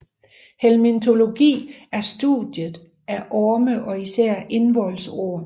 Helminthologi er studiet af orme og især indvoldsorm